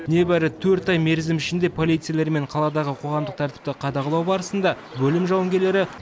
небәрі төрт ай мерзім ішінде полицейлермен қаладағы қоғамдық тәртіпті қадағалау барысында бөлім жауынгерлері